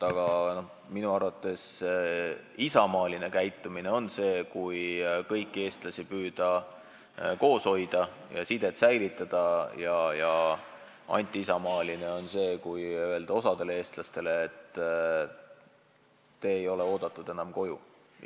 Aga minu arvates isamaaline käitumine on see, kui kõiki eestlasi püütakse koos hoida ja sidet säilitada, ja antiisamaaline on see, kui öeldakse osale eestlastele, et te ei ole enam koju oodatud.